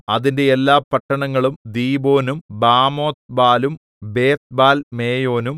അതിന്റെ എല്ലാ പട്ടണങ്ങളും ദീബോനും ബാമോത്ത്ബാലും ബേത്ത്ബാൽമേയോനും